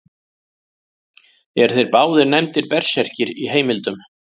Eru þeir báðir nefndir berserkir í heimildum.